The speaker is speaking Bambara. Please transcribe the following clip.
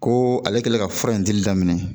Ko ale kɛlen ka fura in dili daminɛ